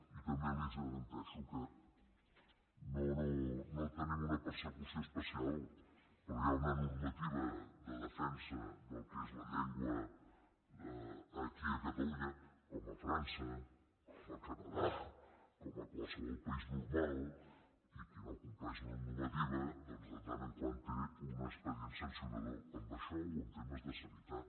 i també li garanteixo que no tenim una persecució especial però hi ha una normativa de defensa del que és la llengua aquí a catalunya com a frança com al canadà com a qualsevol país normal i qui no compleix la normativa doncs de tant en tant té un expedient sancionador en això o en temes de sanitat